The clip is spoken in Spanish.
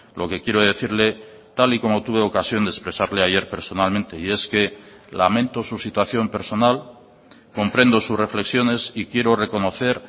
lo que quiero decirle tal y como tuve ocasión de expresarle ayer personalmente y es que lamento su situación personal comprendo sus reflexiones y quiero reconocer